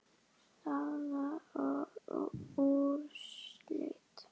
Staða og úrslit